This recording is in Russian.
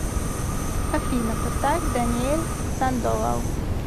афина поставь даниэль сандовал